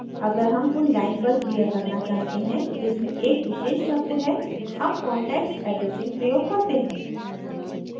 अगर हम उन lines पर क्रिया करना चाहते हैं जिसमें एक विशेष शब्द है हम context addressing प्रयोग करते हैं